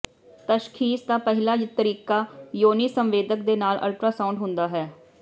ਤਸ਼ਖ਼ੀਸ ਦਾ ਪਹਿਲਾ ਤਰੀਕਾ ਯੋਨੀ ਸੰਵੇਦਕ ਦੇ ਨਾਲ ਅਲਟਰਾਸਾਊਂਡ ਹੁੰਦਾ ਹੈ